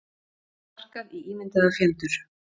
Sparkað í ímyndaða fjendur